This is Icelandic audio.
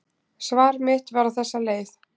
Svar mitt var á þessa leið: